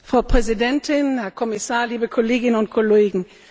Frau Präsidentin, Herr Kommissar, liebe Kolleginnen und Kollegen!